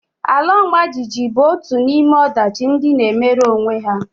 Ala ọmajiji bụ otu n'ime ọdachi ndị na-emere onwe ha